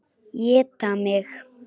Éta mig.